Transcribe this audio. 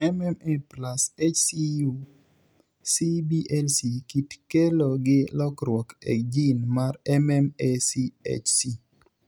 MMA+HCU cblC kit kelo gi lokruok e gene mar MMACHC.